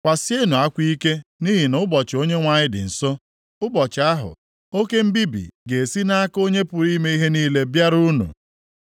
Kwasienụ akwa ike nʼihi na ụbọchị Onyenwe anyị dị nso, + 13:6 \+xt Izk 30:3; Ems 5:18; Zef 1:7; Mkp 6:17\+xt* ụbọchị ahụ oke mbibi ga-esi nʼaka Onye pụrụ ime ihe niile bịara unu.